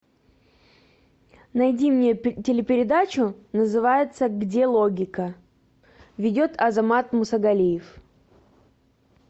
найди мне телепередачу называется где логика ведет азамат мусагалиев